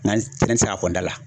Nga ne te se k'a fɔ n da la